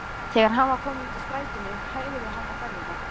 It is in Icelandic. Þegar hann var kominn út úr strætinu hægði hann ferðina.